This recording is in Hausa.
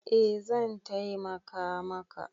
Eh zan taimaka maka.